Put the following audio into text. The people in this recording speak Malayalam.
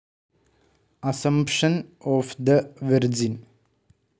assumption of the virgin,